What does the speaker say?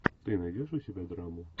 ты найдешь у себя драму